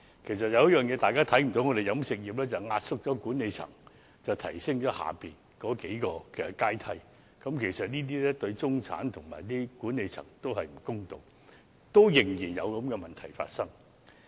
其實有一點是大家不知道的，便是飲食業壓縮了管理層來提升其下數個階層的待遇，這對中產及管理層也不公道，但現時仍然有這樣的問題。